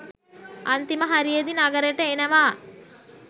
අන්තිම හරියෙදි නගරෙට එනවා